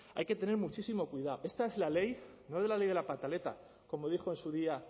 hay que tener muchísimo cuidado esta es la ley no es la ley de la pataleta como dijo en su día